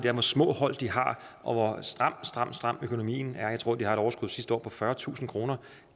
er hvor små hold de har og hvor stram stram stram økonomien er jeg tror at de havde et overskud sidste år på fyrretusind kroner